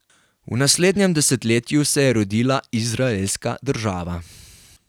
V naslednjem desetletju se je rodila izraelska država.